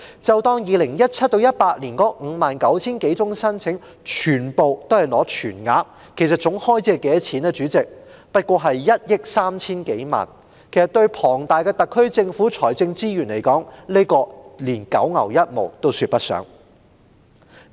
假設 2017-2018 年度的 59,000 多宗申請全部獲批全額，代理主席，總開支也只是1億 3,000 多萬元，對坐擁龐大財政資源的特區政府來說，連九牛一毛也說不上。